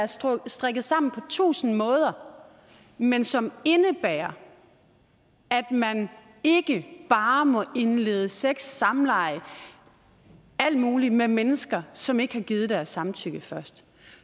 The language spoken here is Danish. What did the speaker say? strikket sammen på tusind måder men som indebærer at man ikke bare må indlede sex samleje alt muligt med mennesker som ikke har givet deres samtykke først